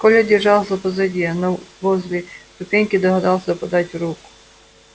коля держался позади но возле ступеньки догадался подать руку